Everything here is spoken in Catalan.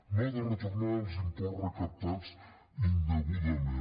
no ha de retornar els imports recaptats indegudament